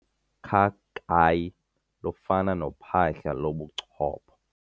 Ukhakayi lufana nophahla lobuchopho.